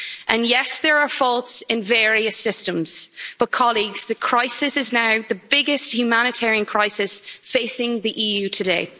and yes there are faults in various systems but colleagues the crisis is now the biggest humanitarian crisis facing the EU today.